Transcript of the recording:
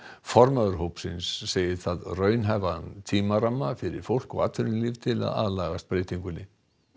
formaður hópsins segir það raunhæfan tímaramma fyrir fólk og atvinnulíf til að aðlagast breytingunni